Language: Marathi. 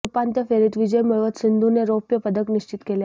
आज उपांत्य फेरीत विजय मिळवत सिंधूने रौप्य पदक निश्चित केले आहे